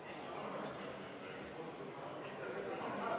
Istungi lõpp kell 18.58.